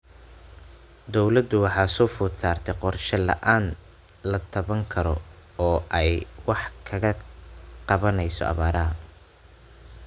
Dawladdu waxa soo food saartay qorshe la�aan la taaban karo oo ay wax kaga qabanayso abaaraha.